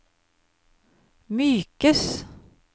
mykes